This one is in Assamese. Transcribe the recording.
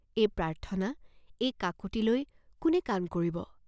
এই প্ৰাৰ্থনা, এই কাকুতিলৈ কোনে কাণ কৰিব?